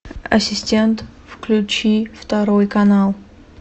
ассистент включи второй канал